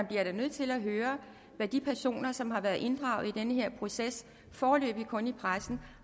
bliver nødt til at høre hvad de personer som har været inddraget i den her proces foreløbig kun i pressen